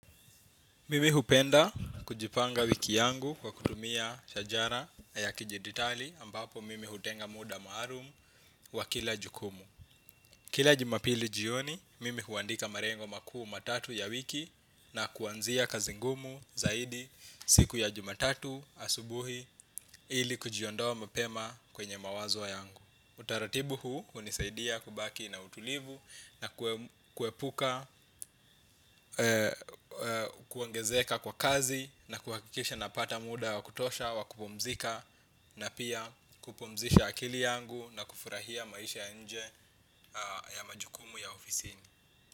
Mimi hupenda kujipanga wiki yangu kwa kutumia shajara ya kidijitali ambapo mimi hutenga muda maalum wa kila jukumu. Kila jumapili jioni, mimi huandika malengo makuu matatu ya wiki na kuanzia kazi ngumu zaidi siku ya juma tatu asubuhi ili kujiondowa mapema kwenye mawazo yangu. Utaratibu huu hunisaidia kubaki na utulivu na kuepuka, kuongezeka kwa kazi na kuhakikisha napata muda wa kutosha wa kupumzika na pia kupumzisha akili yangu na kufurahia maisha ya inje ya majukumu ya ofisi.